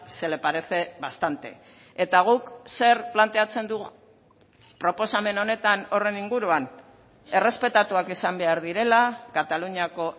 se le parece bastante eta guk zer planteatzen dugu proposamen honetan horren inguruan errespetatuak izan behar direla kataluniako